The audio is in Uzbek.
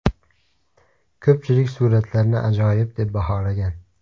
Ko‘pchilik suratlarni ajoyib deb baholagan.